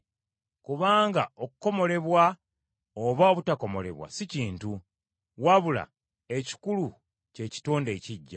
Kubanga okukomolebwa oba obutakomolebwa si kintu, wabula ekikulu kye kitonde ekiggya.